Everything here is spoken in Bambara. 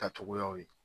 Tacogoyaw ye